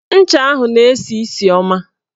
Ncha ahụ na-esi isi ọma